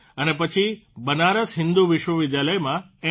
અને પછી બનારસ હિન્દુ વિશ્વવિદ્યાલયમાંથી m